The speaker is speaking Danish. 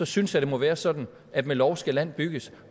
synes jeg det må være sådan at med lov skal land bygges